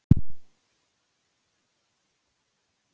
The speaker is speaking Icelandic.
Hvað er könnustóll og hvernig lítur hann út?